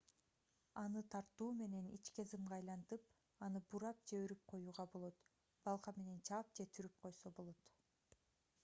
аны тартуу менен ичке зымга айлантып аны бурап же өрүп коюуга болот балка менен чаап же түрүп койсо болот